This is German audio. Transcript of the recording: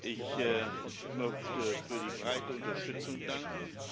Ich möchte für die breite Unterstützung danken.